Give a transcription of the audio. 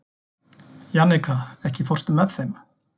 Jannika, ekki fórstu með þeim?